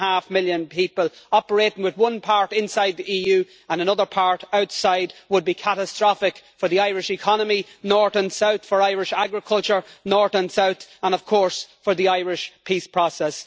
6.5 million people operating with one part inside the EU and another part outside would be catastrophic for the Irish economy north and south, for Irish agriculture north and south and, of course, for the Irish peace process.